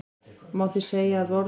Má því segja að orð